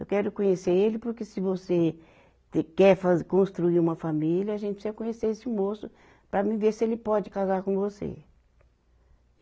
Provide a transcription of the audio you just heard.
Eu quero conhecer ele porque se você, você quer fa construir uma família, a gente precisa conhecer esse moço para ver se ele pode casar com você.